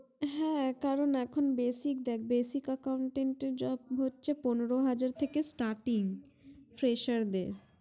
হ্যা কারণ এখন basic দেখ basic accountant টের job হচ্ছে পনোরো হাজার থেকে starting fresher দেড়